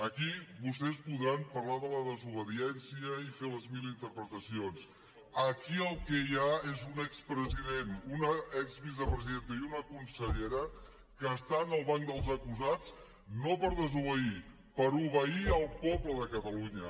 aquí vostès podran parlar de la desobediència i fer les mil interpretacions aquí el que hi ha és un expresident una exvicepresidenta i una consellera que estan al banc dels acusats no per desobeir per obeir el poble de catalunya